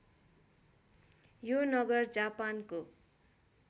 यो नगर जापानको